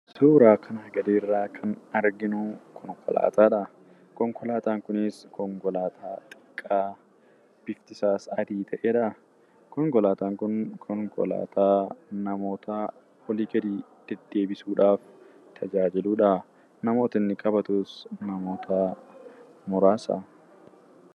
Suuraa kanaa gadiirraa kan arginuu konkolaataadha. Konkolaataan kunis konkolaataa xiqqaa biftisaas adii ta'edhaa. Konkolaataan kun konkolaataa namoota olii gadi deddeebisuudhaaf tajaajiludhaa. Namooti inni qabatus namootaa muraasa.